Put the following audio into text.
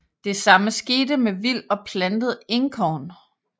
Det samme skete med vild og plantet Enkorn